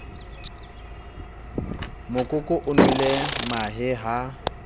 mokoko o nwele mahe ha